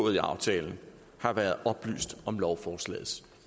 af aftalen har været oplyst om lovforslagets